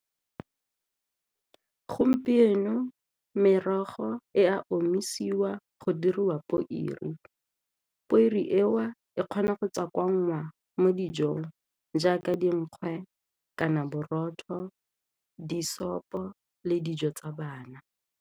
Gompieno merogo e a omisiwa go diriwa eo e kgona go tswakwanngwa mo dijong jaaka dinkgwe kana borotho di-soup-o le dijo tsa bana.